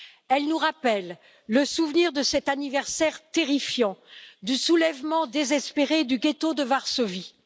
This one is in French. Elles nous rappellent le souvenir de cet anniversaire terrifiant du soulèvement désespéré du ghetto de Varsovie.